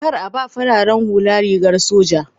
Kar a ba fararen hula rigar soja